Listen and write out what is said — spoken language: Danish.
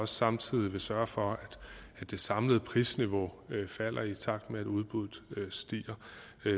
samtidig sørge for at det samlede prisniveau falder i takt med at udbuddet stiger